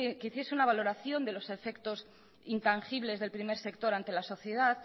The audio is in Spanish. que hiciese una valoración de los efectos intangibles del primer sector ante la sociedad